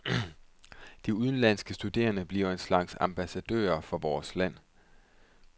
De udenlandske studerende bliver en slags ambassadører for vores land.